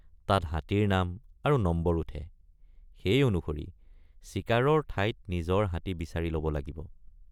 তাত হাতীৰ নাম আৰু নম্বৰ উঠে সেই অনুসৰি চিকাৰৰ ঠাইত নিজৰ হাতী বিচাৰি লব লাগিব।